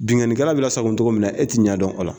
Binkannikɛla be lasago cogo min na, e te ɲɛ dɔn o la.